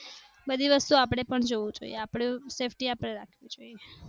બધી વસ્તુ આપણે પણ જોઈએ. આપણે safety રાખવી જોઈએ